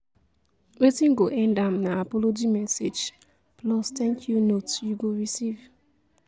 wetin go end am na apology message plus thank yu note yu go receive